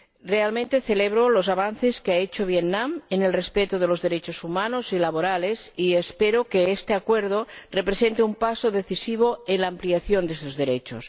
Realmente celebro los avances que ha hecho Vietnam en el respeto de los derechos humanos y laborales, y espero que este Acuerdo represente un paso decisivo en la ampliación de estos derechos.